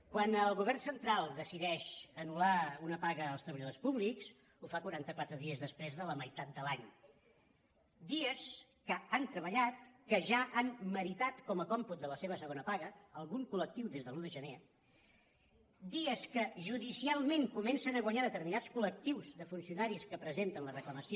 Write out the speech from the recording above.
quan el govern central decideix anultreballadors públics ho fa quaranta·quatre dies des·prés de la meitat de l’any dies que han treballat que ja han meritat com a còmput de la seva segona paga algun col·lectiu des de l’un de gener dies que judi·cialment comencen a guanyar determinats col·lectius de funcionaris que presenten la reclamació